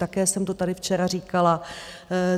Také jsem to tady včera říkala.